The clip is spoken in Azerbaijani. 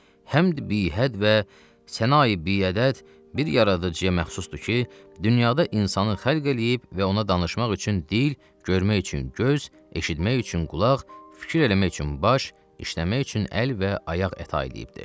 Həmd bihəd və sənayi biədəd bir yaradıcıya məxsusdur ki, dünyada insanı xəlq eləyib və ona danışmaq üçün dil, görmək üçün göz, eşitmək üçün qulaq, fikir eləmək üçün baş, işləmək üçün əl və ayaq əta eləyibdir.